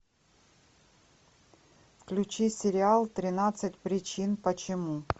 включи сериал тринадцать причин почему